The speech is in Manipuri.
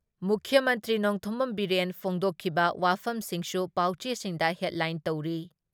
ꯃꯨꯈ꯭ꯌ ꯃꯟꯇ꯭ꯔꯤ ꯅꯣꯡꯊꯣꯝꯕꯝ ꯕꯤꯔꯦꯟ ꯐꯣꯡꯗꯣꯛꯈꯤꯕ ꯋꯥꯐꯝꯁꯤꯡꯁꯨ ꯄꯥꯎꯆꯦꯁꯤꯡꯗ ꯍꯦꯗꯂꯥꯏꯟ ꯇꯧꯔꯤ ꯫